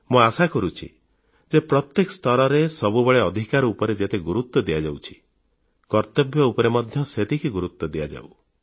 ମୁଁ ଆଶା କରୁଛି ଯେ ପ୍ରତ୍ୟେକ ସ୍ତରରେ ସବୁବେଳେ ଅଧିକାର ଉପରେ ଯେତେ ଗୁରୁତ୍ୱ ଦିଆଯାଉଛି କର୍ତ୍ତବ୍ୟଗୁଡ଼ିକ ଉପରେ ମଧ୍ୟ ସେତିକି ଗୁରୁତ୍ୱ ଦିଆଯାଉ